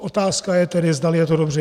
Otázka tedy je, zdali je to dobře.